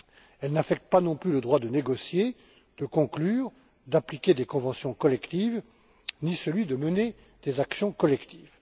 Elle n'affecte pas non plus le droit de négocier, de conclure, d'appliquer des conventions collectives, ni celui de mener des actions collectives.